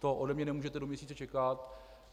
To ode mne nemůžete do měsíce čekat.